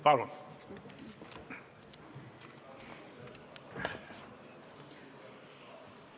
Palun!